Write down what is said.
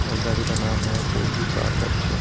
और गाड़ी का नाम है फूजी कार वर्कशॉप ।